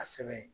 A sɛbɛn